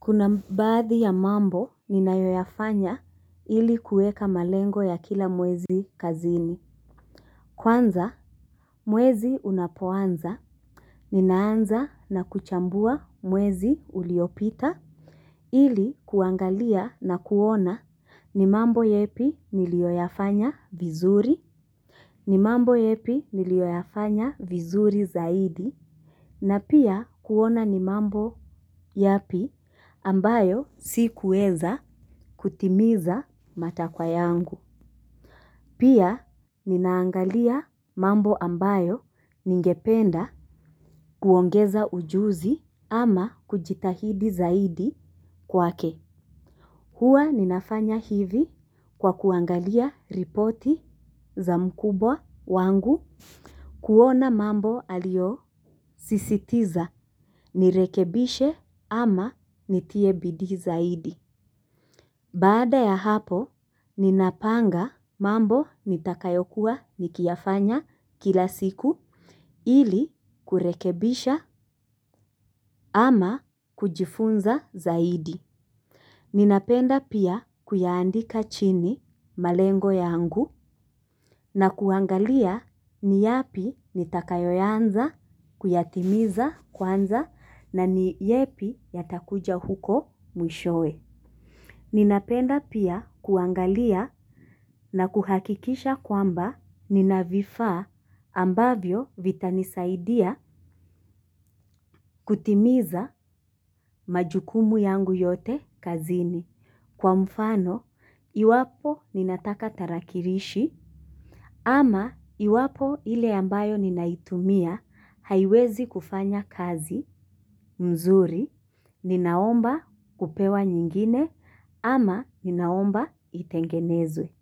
Kuna baadhi ya mambo ninayoyafanya ili kueka malengo ya kila mwezi kazini. Kwanza, mwezi unapoanza, ninaanza na kuchambua mwezi uliopita, ili kuangalia na kuona ni mambo yepi niliyoyafanya vizuri, ni mambo yepi niliyoyafanya vizuri zaidi, na pia kuona ni mambo yapi ambayo si kuweza kutimiza matakwa yangu. Pia ninaangalia mambo ambayo ningependa kuongeza ujuzi ama kujitahidi zaidi kwake. Huwa ninafanya hivi kwa kuangalia ripoti za mkubwa wangu. Kuona mambo aliyosisitiza nirekebishe ama nitie bidii zaidi. Baada ya hapo, ninapanga mambo nitakayokuwa nikiyafanya kila siku ili kurekebisha ama kujifunza zaidi. Ninapenda pia kuyaandika chini malengo yangu na kuangalia ni yapi nitakayoyaanza, kuyatimiza kwanza na ni yepi yatakuja huko mwishowe. Ninapenda pia kuangalia na kuhakikisha kwamba nina vifaa ambavyo vitanisaidia kutimiza majukumu yangu yote kazini. Kwa mfano, iwapo ninataka tarakilishi ama iwapo ile ambayo ninaitumia haiwezi kufanya kazi mzuri, ninaomba kupewa nyingine ama ninaomba itengenezwe.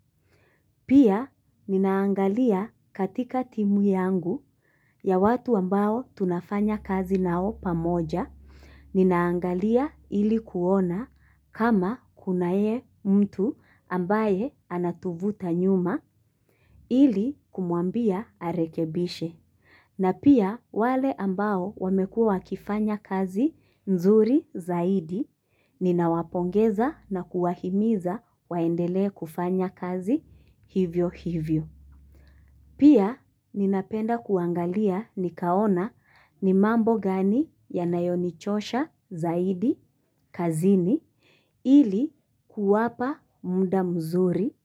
Pia ninaangalia katika timu yangu ya watu ambao tunafanya kazi nao pamoja, ninaangalia ili kuona kama kunaye mtu ambaye anatuvuta nyuma ili kumuambia arekebishe. Na pia wale ambao wamekuwa wakifanya kazi nzuri zaidi, ninawapongeza na kuwahimiza waendele kufanya kazi hivyo hivyo. Pia ninapenda kuangalia nikaona ni mambo gani yanayonichosha zaidi kazini ili kuwapa mda mzuri.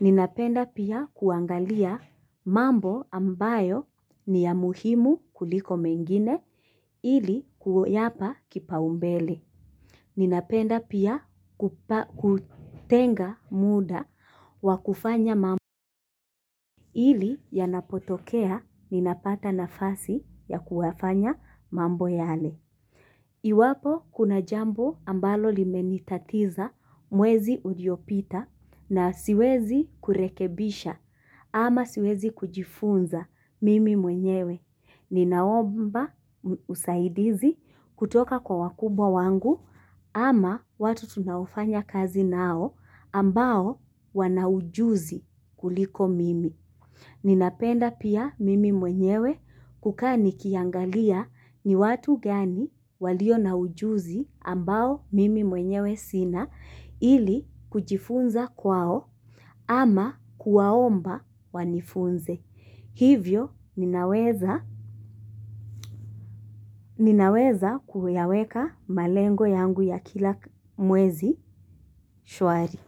Ninapenda pia kuangalia mambo ambayo ni ya muhimu kuliko mengine ili kuyapa kipaumbele. Ninapenda pia kutenga muda wa kufanya mambo ili yanapotokea ninapata nafasi ya kuyafanya mambo yale. Iwapo kuna jambo ambalo limenitatiza mwezi uliopita na siwezi kurekebisha ama siwezi kujifunza mimi mwenyewe. Ninaomba usaidizi kutoka kwa wakubwa wangu ama watu tunaofanya kazi nao ambao wana ujuzi kuliko mimi. Ninapenda pia mimi mwenyewe kukaa nikiangalia ni watu gani walio na ujuzi ambao mimi mwenyewe sina ili kujifunza kwao ama kuwaomba wanifunze. Hivyo ninaweza kuyaweka malengo yangu ya kila mwezi shwari.